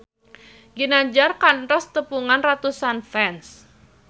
Ginanjar kantos nepungan ratusan fans